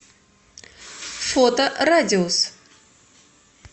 фото радиус